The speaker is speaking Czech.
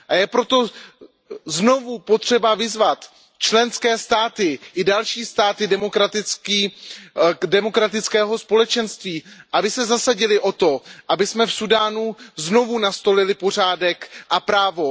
Je proto znovu potřeba vyzvat členské státy i další státy demokratického společenství, aby se zasadily o to, abychom v Súdánu znovu nastolili pořádek a právo.